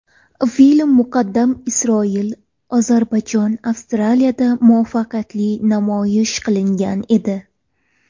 Film muqaddam Isroil, Ozarbayjon, Avstriyada muvaffaqiyatli namoyish qilingan edi.